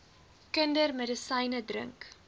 kinders medisyne drink